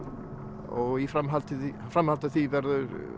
og í framhaldi í framhaldi af því verða